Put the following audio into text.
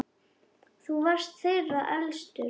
Þú varst þeirra elstur.